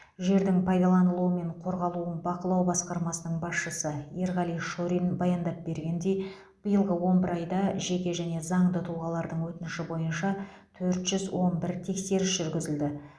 жердің пайдаланылуы мен қорғалуын бақылау басқармасының басшысы ерғали шорин баяндап бергендей биылғы он бір айда жеке және заңды тұлғалардың өтініші бойынша төрт жүз он бір тексеріс жүргізілді